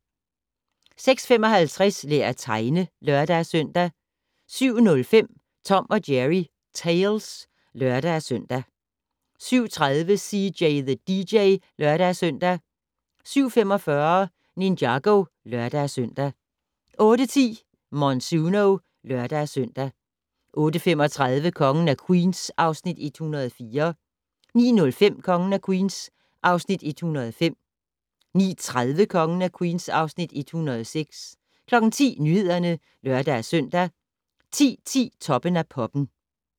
06:55: Lær at tegne (lør-søn) 07:05: Tom & Jerry Tales (lør-søn) 07:30: CJ the DJ (lør-søn) 07:45: Ninjago (lør-søn) 08:10: Monsuno (lør-søn) 08:35: Kongen af Queens (Afs. 104) 09:05: Kongen af Queens (Afs. 105) 09:30: Kongen af Queens (Afs. 106) 10:00: Nyhederne (lør-søn) 10:10: Toppen af Poppen